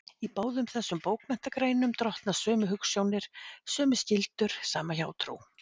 Í báðum þessum bókmenntagreinum drottna sömu hugsjónir, sömu skyldur, sama hjátrú.